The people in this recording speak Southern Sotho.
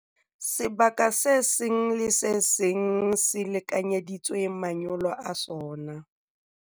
Sebaka se seng le se seng se lekanyeditswe manyolo a sona.